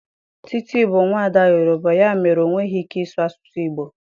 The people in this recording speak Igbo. Titi bụ nwaada Yoruba, ya mere, ọ nweghị ike ịsụ asụsụ Igbo.